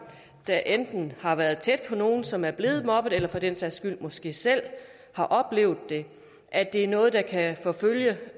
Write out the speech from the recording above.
der enten har været tæt på nogle som er blevet mobbet eller for den sags skyld måske selv har oplevet det at det er noget der kan forfølge